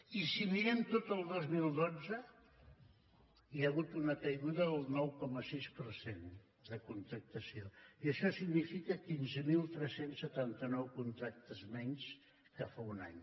i si mirem tot el dos mil dotze hi ha hagut una caiguda del nou coma sis per cent de contractació i això significa quinze mil tres cents i setanta nou contractes menys que fa un any